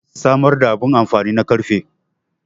samar da abin amfani na karfe